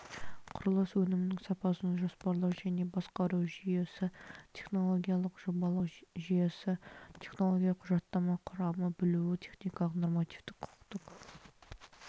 құрылыс өнімінің сапасын жоспарлау және басқару жүйесі технологиялық жобалау жүйесі технологиялық құжаттама құрамы білуі техникалық нормативтік-құқықтық